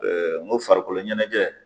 n' ko farikolo ɲɛnajɛ.